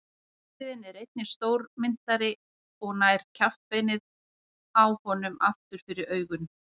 Urriðinn er einnig stórmynntari og nær kjaftbeinið á honum aftur fyrir augun.